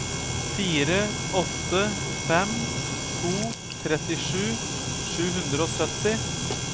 fire åtte fem to trettisju sju hundre og sytti